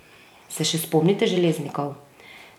Se še spomnite Železnikov?